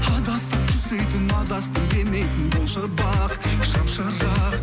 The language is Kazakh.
адасса түзейтін адастым демейтін болшы бақ шамшырақ